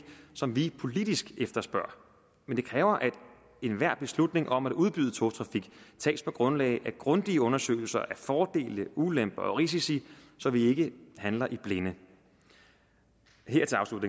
som vi politisk efterspørger men det kræver at enhver beslutning om at udbyde togtrafik tages på grundlag af grundige undersøgelser af fordele ulemper og risici så vi ikke handler i blinde her